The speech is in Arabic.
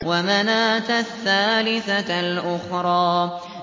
وَمَنَاةَ الثَّالِثَةَ الْأُخْرَىٰ